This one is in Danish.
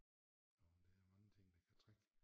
Jo men der er mange ting der kan trække